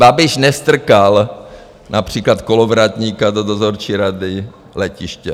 Babiš nestrkal například Kolovratníka do dozorčí rady letiště.